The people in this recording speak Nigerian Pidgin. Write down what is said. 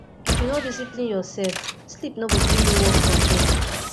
if you no discipline yoursef sleep no go gree you work from home